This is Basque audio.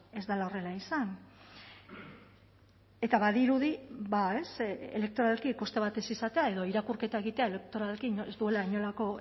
ez dela horrela izan eta badirudi ba elektoralki koste bat ez izatea edo irakurketa egiteak elektoralki ez duela inolako